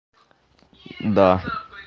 да